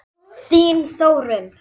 Þín Þórunn.